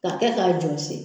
K'a kɛ k'a jɔsi